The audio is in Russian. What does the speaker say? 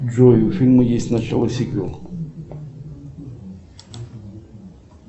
джой у фильма есть начало сиквел